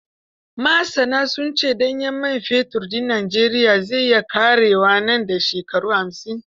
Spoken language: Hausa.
Masana sun ce ɗanyen man fetur din Najeriya zai iya ƙarewa nan da shekara hamsin.